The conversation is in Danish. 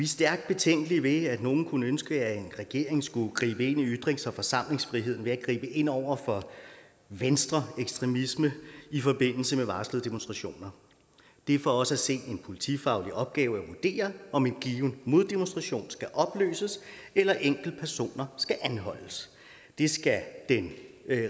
stærkt betænkelige ved at nogen kunne ønske at en regering skulle gribe ind i ytrings og forsamlingsfriheden ved at gribe ind over for venstreekstremisme i forbindelse med varslede demonstrationer det er for os at se en politifaglig opgave at vurdere om en given moddemonstration skal opløses eller enkeltpersoner skal anholdes det skal